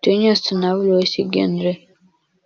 ты не останавливайся генри